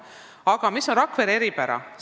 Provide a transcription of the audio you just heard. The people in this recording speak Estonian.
Aga mis on Rakvere eripära?